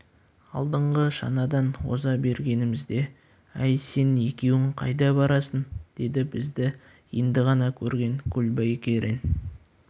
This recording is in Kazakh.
алдыңғы шанадан оза бергенімізде әй сен екеуің қайда барасың деді бізді енді ғана көрген көлбай керең